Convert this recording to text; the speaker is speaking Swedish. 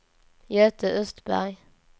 Göte Östberg